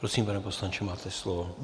Prosím, pane poslanče, máte slovo.